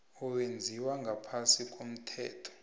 owenziwe ngaphasi komthetho